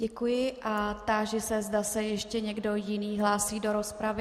Děkuji a táži se, zda se ještě někdo jiný hlásí do rozpravy.